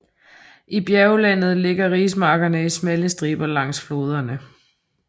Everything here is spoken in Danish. I bjerglandet ligger rismarkerne i smalle striber langs floderne